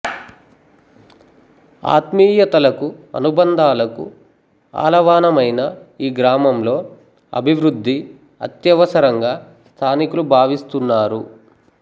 ఆత్మీయతలకు అనుబంధాలకు ఆలవానమైన ఈ గ్రామంలో అభివృద్ధి అత్యవసరంగా స్థానికులు భావిస్తున్నారు